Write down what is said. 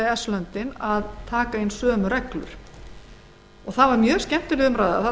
eru búnir að því það var mjög skemmtileg umræða